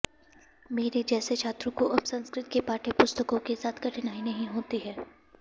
मेरे जैसे छात्रों को अब संस्कृत के पाठ्यपुस्तकों के साथ कठिनाई नहीं होती है